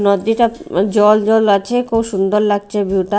নদ্দীটা জল জল আছে খুব সুন্দর লাগছে ভিউ -টা।